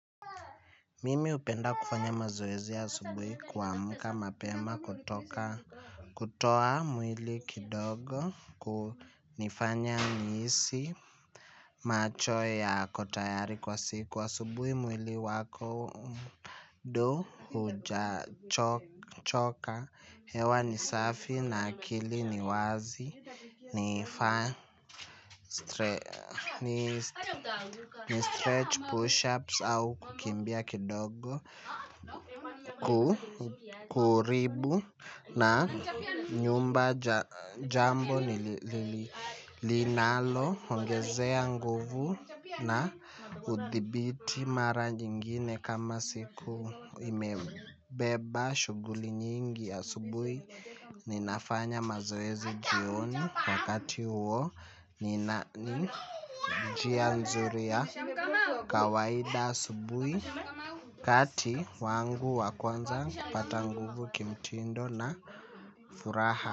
Mimi upenda kufanya mazoezi ya asubuhi kuamuka mapema kutoka kutoa mwili kidogo kunifanya nihisi macho yako tayari kwa siku wa subuhi mwili wako mda huja choka hewa ni safi na akili ni wazi ni fan ni stretch push ups au kukimbia kidogo. Kukuribu na nyumba jambo nilinalo ongezea nguvu na uthibiti mara nyingine. Kama siku imebeba shuguli nyingi ya subui ninafanya mazoezi jioni wakati uo. Ninani jia nzuri ya kawaida asubui. Kati wangu wakuanza kupata nguvu kimtindo na furaha.